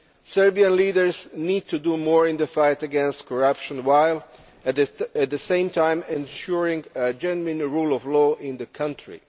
Serbian leaders need to do more in the fight against corruption, while at the same time ensuring a genuine rule of law in the country.